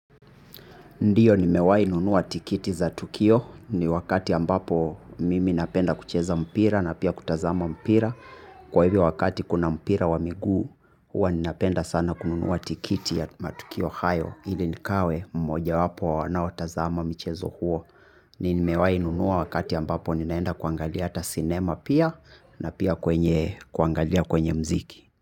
Ndiyo nimewainunua tikiti za tukio, ni wakati ambapo mimi napenda kucheza mpira na pia kutazama mpira, kwa hivyo wakati kuna mpira wa miguu huwa napenda sana kununua tikiti ya matukio hayo ili nikawe mmojawapo wanaotazama michezo huo. Nimewainunua wakati ambapo ninaenda kuangalia hata sinema pia, na pia kuangalia kwenye mziki.